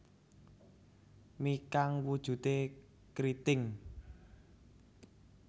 Mi kang wujude kriting